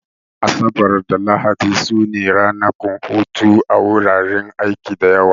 Asabar da Lahadi su ne ranakun hutu a wuraren aiki da yawa